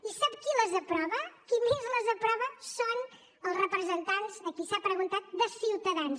i sap qui les aprova qui més les aprova són els representants a qui s’ha preguntat de ciutadans